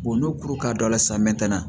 n'o kuru ka don a la san mɛtɛnɛ